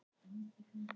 köld og blá,